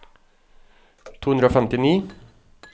to hundre og femtini